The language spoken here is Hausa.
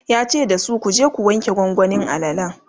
yace dasu"kuje ku wanke gwangwanin alalan!"